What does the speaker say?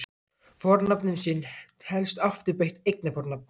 Fornafnið sinn telst afturbeygt eignarfornafn.